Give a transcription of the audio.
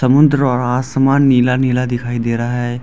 समुंद्र और आसमान नीला नीला दिखाई दे रहा है।